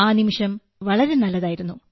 ആ നിമിഷം വളരെ നല്ലതായിരുന്നു